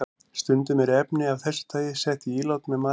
Stundum eru efni af þessu tagi sett í ílát með matvælum.